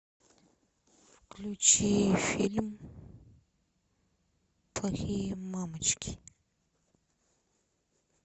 включи фильм плохие мамочки